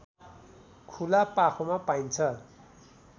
खुला पाखोमा पाइन्छ